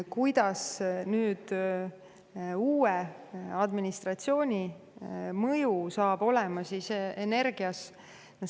Kuidas hakkab olema nüüd uue administratsiooni mõju energia?